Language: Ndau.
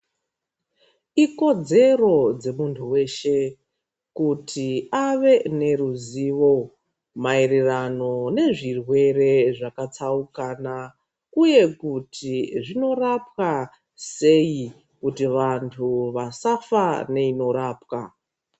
Ikodzero dzemuntu veshe kuti ave neruzivo maererano nezvirwere zvakatsaukana. uye kuti zvinorapwa seyi kuti vantu vasafa neinorapwa.